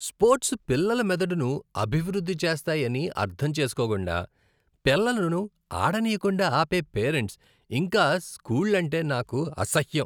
Sports పిల్లల మెదడును అభివృద్ధి చేస్తాయని అర్థం చేసుకోకుండా, పిల్లలను ఆడనీయకుండా ఆపే పేరెంట్స్, ఇంకా స్కూళ్లంటే నాకు అసహ్యం.